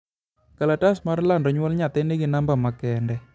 kalatas mar lando nyuol nyathi nigi number ma kende